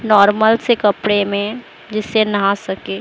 Normal से कपड़े में जिससे नहा सके।